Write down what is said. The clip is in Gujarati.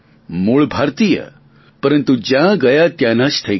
મુળ ભારતીય પરંતુ જ્યાં ગયા ત્યાંના જ થઈ ગયા